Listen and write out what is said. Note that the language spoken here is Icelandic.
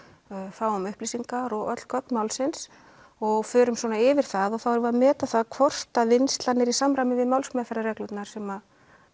fáum upplýsingar og öll gögn málsins og förum yfir það og þá erum við að meta það hvort vinnslan er í samræmi við málsmeðferðarreglurnar sem